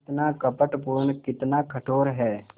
कितना कपटपूर्ण कितना कठोर है